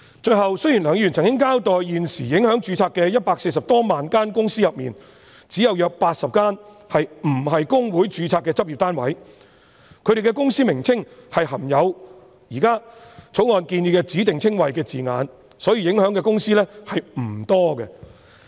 最後，雖然梁議員曾經交代在現時140多萬間公司裏，只有約80間不是公會註冊的執業單位，他們的公司名稱含有現時《條例草案》建議的指定稱謂的字眼，所以受影響的公司並不多。